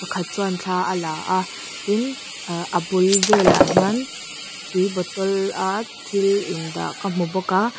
khat chuan thla a la a tin ah a bul velah hian tui bottle a thil in dah ka hmu bawk a.